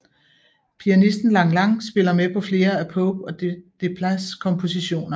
Pianisten Lang Lang spiller med på flere af Pope og Desplats kompositioner